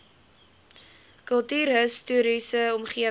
kultuurhis toriese omgewing